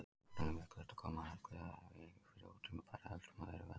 Jafnvel er mögulegt að koma algjörlega í veg fyrir ótímabæra öldrun af þeirra völdum.